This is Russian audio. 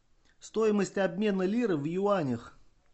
стоимость обмена лиры в юанях